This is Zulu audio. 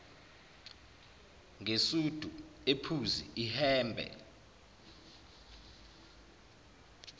ngesudi ephuzi ihhembe